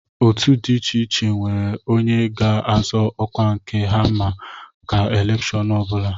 Otu dị iche iche nwere onye ga-azọ ọkwa nke ha maka elèkshón ọ bụla